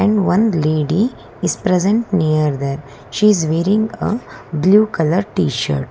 And one lady is present near there she is wearing a blue colour tshirt.